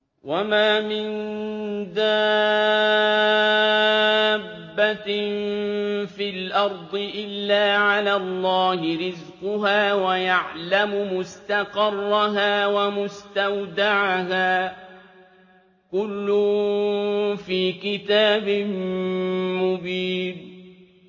۞ وَمَا مِن دَابَّةٍ فِي الْأَرْضِ إِلَّا عَلَى اللَّهِ رِزْقُهَا وَيَعْلَمُ مُسْتَقَرَّهَا وَمُسْتَوْدَعَهَا ۚ كُلٌّ فِي كِتَابٍ مُّبِينٍ